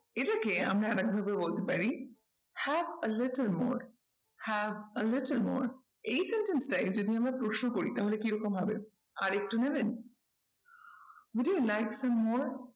এটাকে আমরা আর এক ভাবে বলতে পারি have a little more, have a little more এই sentence টাই যদি আমরা প্রশ্ন করি তাহলে কিরকম হবে? আর একটু নেবেন? would you like some more?